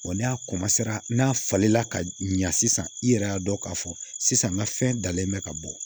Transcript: n'a n'a falen la ka ɲa sisan i yɛrɛ y'a dɔn k'a fɔ sisan n ka fɛn dalen bɛ ka bɔ